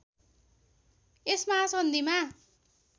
यस महासन्धिमा